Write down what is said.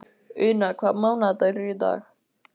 Una, hvaða mánaðardagur er í dag?